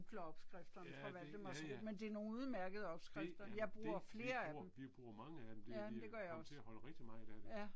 Ja det, ja ja. Det ja det, vi bruger vi bruger mange af dem det vi er kommet til at holde rigtig meget af det